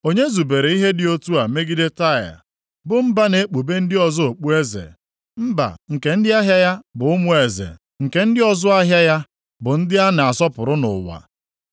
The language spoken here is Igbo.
Onye zubere ihe dị otu a megide Taịa, bụ mba na-ekpube ndị ọzọ okpueze, mba nke ndị ahịa ya bụ ụmụ eze, nke ndị ọzụ ahịa ya bụ ndị a na-asọpụrụ nʼụwa?